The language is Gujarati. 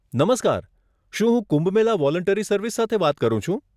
નમસ્કાર, શું હું કુંભ મેલા વોલન્ટરી સર્વિસ સાથે વાત કરું છું?